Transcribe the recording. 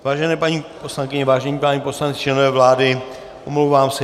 Vážené paní poslankyně, vážení páni poslanci, členové vlády, omlouvám se.